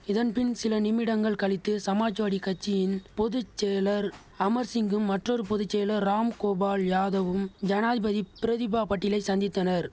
இதன் பின் சில நிமிடங்கள் கழித்து சமாஜ்வாடி கட்சியின் பொது செயலர் அமர் சிங்கும் மற்றொரு பொது செயலர் ராம் கோபால் யாதவும் ஜனாதிபதி பிரதிபா பட்டீலை சந்தித்தனர்